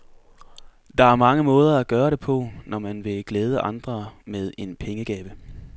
Der er mange måder at gøre det på, når man vil glæde andre med en pengegave.